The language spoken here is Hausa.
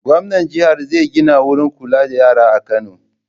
Gwamnan jihar zai gina wurin kula da yara a Kano.